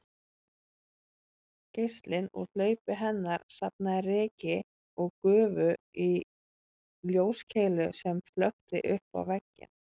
Geislinn úr hlaupi hennar safnaði ryki og gufu í ljóskeilu sem flökti uppá vegginn